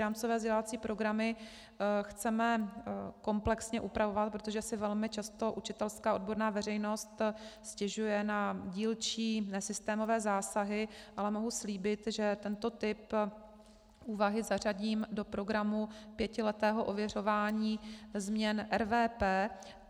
Rámcové vzdělávací programy chceme komplexně upravovat, protože si velmi často učitelská odborná veřejnost stěžuje na dílčí nesystémové zásahy, ale mohu slíbit, že tento typ úvahy zařadím do programu pětiletého ověřování změn RVP.